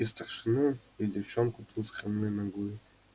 и старшину и девчонку ту с хромой ногой